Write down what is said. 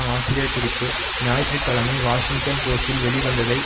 ஆசிரியர் குறிப்பு ஞாயிற்று கிழமை வாஷிங்டன் போஸ்டில் வெளிவந்ததை